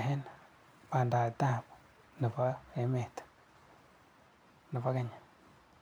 eng bandaptai nebo emet nebo Kenya.